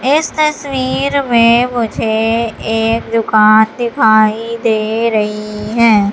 इस तस्वीर में मुझे एक दुकान दिखाई दे रही है।